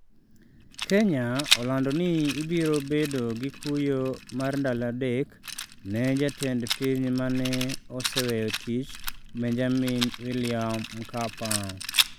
Kenya olando ni ibiro bedo gi kuyo mar ndalo adek ne Jatend piny mane oseweyo tich, Benjamin William Mkapa